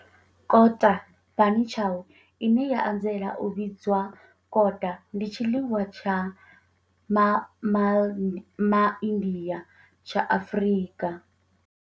Kota, bunny chow, ine ya anzela u vhidzwa kota, ndi tshiḽiwa tsha MA India tsha Afrika.